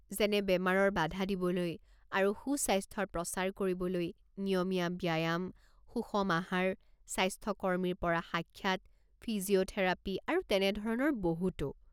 যেনে বেমাৰৰ বাধা দিবলৈ আৰু সুস্বাস্থ্যৰ প্ৰচাৰ কৰিবলৈ নিয়মীয়া ব্যায়াম, সুষম আহাৰ, স্বাস্থ্যকৰ্মী পৰা সাক্ষাৎ, ফিজিঅ'থেৰাপী আৰু তেনেধৰণৰ বহুতো।